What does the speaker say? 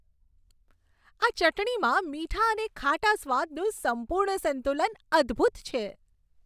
આ ચટણીમાં મીઠા અને ખાટા સ્વાદનું સંપૂર્ણ સંતુલન અદ્ભૂત છે.